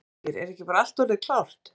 Ásgeir, er ekki bara allt orðið klárt?